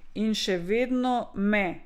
In še vedno me!